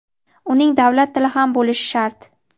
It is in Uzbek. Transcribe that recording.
uning davlat tili ham bo‘lishi shart.